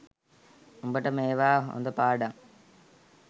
උඹට මේවා හොඳ පාඩං